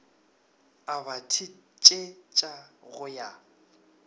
a ba thetsetša go ya